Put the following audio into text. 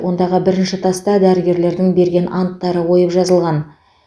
ондағы бірінші таста дәрігерлердің берген анттары ойып жазылған